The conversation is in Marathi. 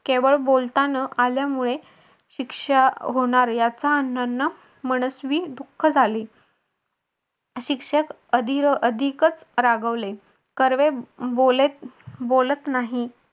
केवळ बोलता न आल्यामुळे शिक्षा होणार याचा अण्णांना मनस्वी दुःख झाले. शिक्षक अधि अह अधिकच रागावले कर्वे बोलत बोलत नाही.